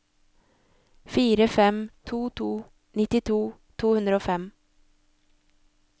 fire fem to to nittito to hundre og fem